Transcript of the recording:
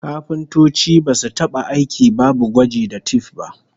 Kafintoci basu taba aiki babu gwaji ta tif ba